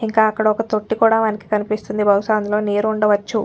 ఇంకా అక్కడ ఒక్క తొట్టి కూడా మనకు కనిపిస్తుంది బహుశా అందులో నీరు ఉండవచ్చు